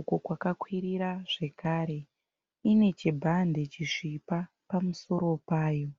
uko kwakakwirira zvekare. Ine chibhande chisvipa pamusoro payo.